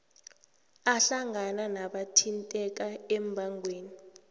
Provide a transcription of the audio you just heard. ahlangana nabathinteka embangweni